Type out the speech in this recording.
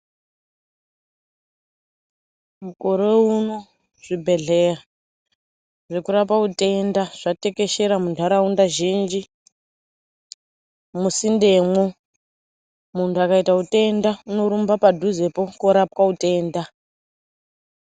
Mukore uno zvibhedhleya zvekurapa utenda zvatekeshera muntharaunda zhinji musindemwo munthu akaita utenda unorumbapadhuzepo korapwa utenda.